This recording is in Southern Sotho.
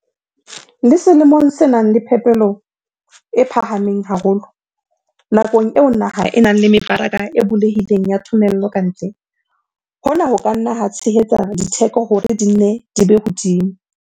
Le selemong se nang le phepelo e phahameng haholo, nakong eo naha e nang le mebaraka e bulehileng ya thomello ka ntle, hona ho ka nna ha tshehetsa ditheko hore di nne di be hodimo.